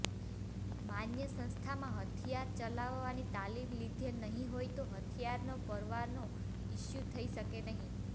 માન્ય સંસ્થામાં હથિયાર ચલાવવાની તાલિમ લીધેલ નહીં હોય તો હથિયારનો પરવાનો ઇસ્યુ થઇ શકશે નહીં